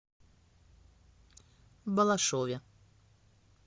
балашове